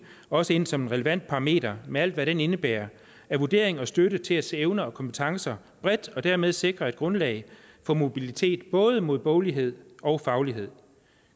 også ind som en relevant parameter med alt hvad den indebærer af vurdering og støtte til at se evner og kompetencer bredt og dermed sikre et grundlag for mobilitet både mod boglighed og faglighed